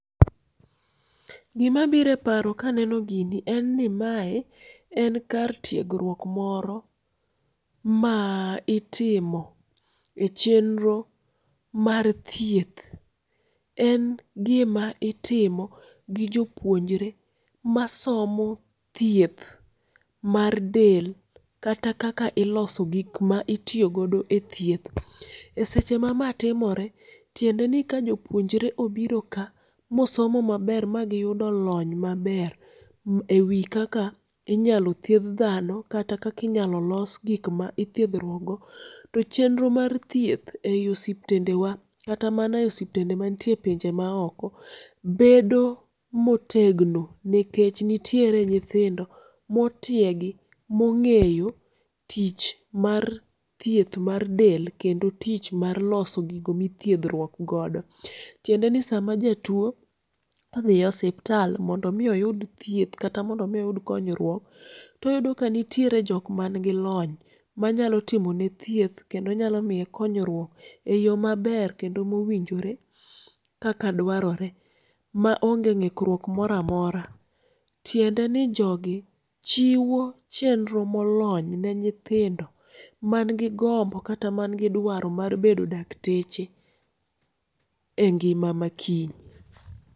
gima bire paro kaneno gini en ni mae en kar tiegruok moro ma itimo e chenro mar thieth, en gima itimo gi jopuonjre masomo thieth mar del kata kaka iloso gik ma itiyo godo e thieth ,e seche ma ma timore tiende ni ka jopuonjre obiro ka mosomo maber magi yudo lony maber ewi kaka inyalo thieth dhano kata kaka inyalo los gik ma ithiethruok go to chenro mar thieth ei osiptendewa kata mane e osiptende mane pinje ma oko, bedo motegno nikech nitiere nyithindo motiegi mong'eyo tich mar thieth mar del kendo tich mar loso gigo midhiethruok godo ,tiende ni sama jatuo odhi e hospital mondo mi oyud thieth kata mondo mi oyud konyruok toyudo ka nitie joma ni gi lony manyalo timo ne thieth kendo nyalo miye konyruok e yo maber kendo mowinjore kaka dwarore ma ong'e ring'ruok mora mora ,tiende ni jogi chiwo chenro molony ne nyithindo man gi gombo kata man gi dwaro mar bedo dakteche e ng'ima makiny